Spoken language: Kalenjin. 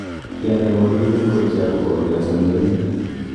Kianai walutik ngorcho agobo ole achamchami?